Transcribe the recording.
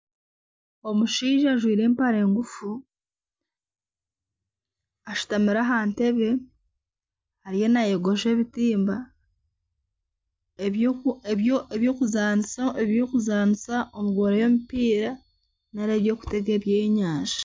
Omushaija ajwire empare ngufu, ashutamire aha ntebe ariyo naayogosha ebitimba, eby'okuzaanisa omu goora y'omupiira nari eby'okuteega ebyenyanja